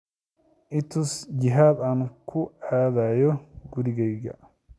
i tus jihada aan ku aadayo gurigayga